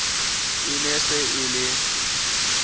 e ne se e le